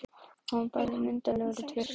Hann var bæði myndarlegur og traustur.